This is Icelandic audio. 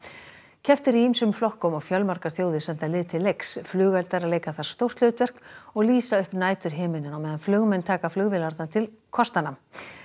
keppt er í ýmsum flokkum og fjölmargar þjóðir senda lið til leiks flugeldar leika þar stórt hlutverk og lýsa upp næturhimininn á meðan flugmenn taka flugvélarnar til kostanna